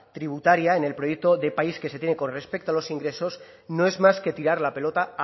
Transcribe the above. tributaria en el proyecto de país que se tiene con respecto a los ingresos no es más que tirar la pelota